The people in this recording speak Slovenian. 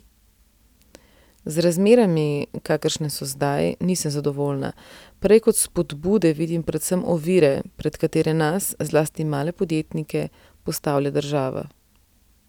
Z razmerami, kakršne so zdaj, nisem zadovoljna, prej kot spodbude vidim predvsem ovire, pred katere nas, zlasti male podjetnike, postavlja država.